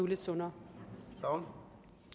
lidt sundere